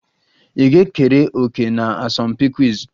Ị ga-ekere òkè na asọmpi quiz?